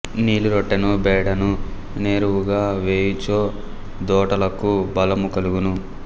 నీలి రొట్టను బేడను నెరువుగా వేయు చో దోటలకు బలము కలుగును